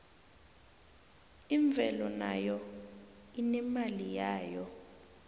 imvelo nayo inemali yayo